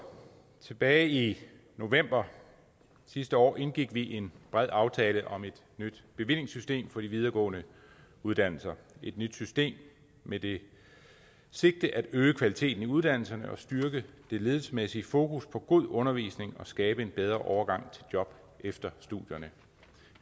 tilbage i november sidste år indgik vi en bred aftale om et ny bevillingssystem på de videregående uddannelser med det sigte at øge kvaliteten i uddannelserne og styrke det ledelsesmæssige fokus på god undervisning og skabe en bedre overgang til job efter studierne